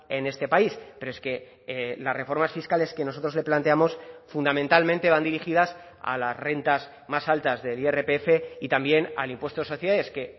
en este país pero es que las reformas fiscales que nosotros le planteamos fundamentalmente van dirigidas a las rentas más altas del irpf y también al impuesto de sociedades que